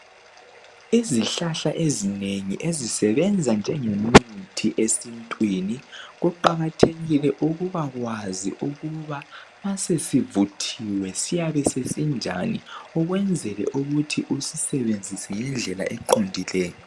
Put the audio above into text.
Izihlahla ezinengi ezisebenza njengemithi esintwini kuqakathekile ukubakwazi ukuba masesivuthiwe siyabe sesinjani ukwenzela ukuthi usisebenzise ngendlela eqondileyo.